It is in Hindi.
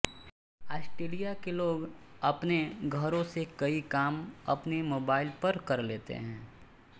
ऑस्ट्रेलिया के लोग अपने घरों से कई काम अपने मोबाइल पर कर लेते हैं